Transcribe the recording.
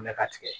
Mɛ ka tigɛ